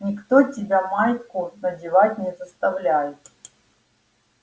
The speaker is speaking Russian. никто тебя майку надевать не заставляет